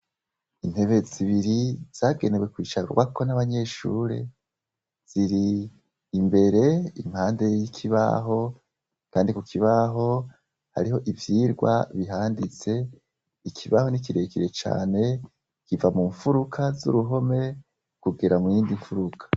Intebe zibiri zagenewe kwicabwako n' abanyeshure, ziri imbere impande y' ikibaho, kandi ku kibaho, hariho ivyirwa bihanditse, ikibaho ni kirekire cane ,kiva mu nfuruka z'uruhome , kugera mu yindi nfuruka.